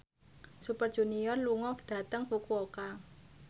Super Junior lunga dhateng Fukuoka